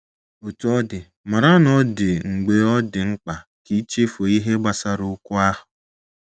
Otú ọ dị, mara na ọ dị mgbe ọ dị mkpa ka i chefuo ihe gbasara okwu ahụ.